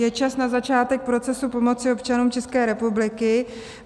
Je čas na začátek procesu pomoci občanům České republiky.